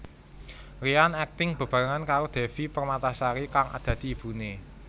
Ryan akting bebarengan karo Devi Permatasari kang dadi ibune